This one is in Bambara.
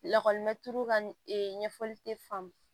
Lakɔlimɛturu ka ne ɲɛfɔli te faamu